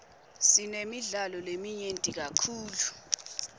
sinemidlalo leminyenti kakhulu